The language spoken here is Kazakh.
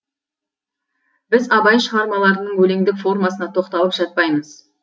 біз абай шығармаларының өлеңдік формасына тоқталып жатпаймыз